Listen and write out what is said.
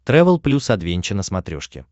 трэвел плюс адвенча на смотрешке